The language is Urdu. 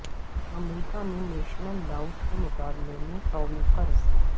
امریکہ میں نیشنل ڈاوٹ کے مقابلے میں قومی قرض